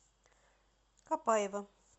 копаева